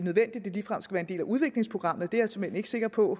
ligefrem skal være en del af udviklingsprogrammet er jeg såmænd ikke sikker på